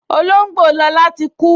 Olóngbò Lọla tí kú